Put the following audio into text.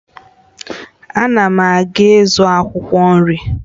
Ana m aga ịzụ akwụkwọ nri